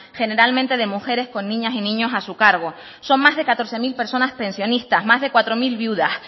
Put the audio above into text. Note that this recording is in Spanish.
generalmente de mujeres con niñas y niños a su cargo son más de catorce mil personas pensionistas más de cuatro mil viudas